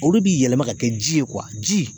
Olu bi yɛlɛma ka kɛ ji ye , ji